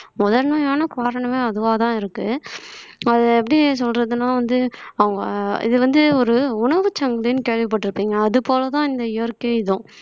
முதன்மையான காரணமே அதுவாதான் இருக்கு அத எப்படி சொல்றதுன்னா வந்து அவங்க இது வந்து ஒரு உணவுச்சங்கலின்னு கேள்விப்பட்டிருப்பீங்க அது போலதான் இந்த இயற்கை இதுவும்